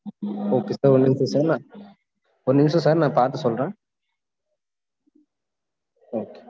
visa numberokay sir ஒரு நிமிஷம் sir நான் ஒரு நிமிஷம் sir நான் பாத்து சொல்றேன் right